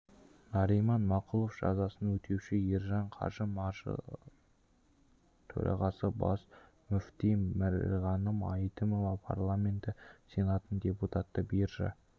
нариман мақұлов жазасын өтеуші ержан қажы малғажыұлы төрағасы бас мүфти бірғаным әйтімова парламенті сенатының депутаты биржа